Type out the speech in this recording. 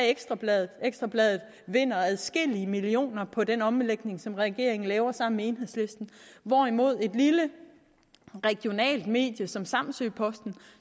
ekstra bladet ekstra bladet vinder adskillige millioner kroner på den omlægning som regeringen laver sammen med enhedslisten hvorimod et lille regionalt medie som samsø posten